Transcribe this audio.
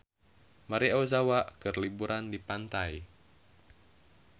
Maria Ozawa keur liburan di pantai